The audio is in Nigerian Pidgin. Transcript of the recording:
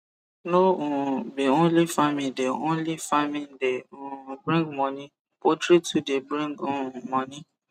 no um be only farming de only farming de um bring moni poultry too de bring um moni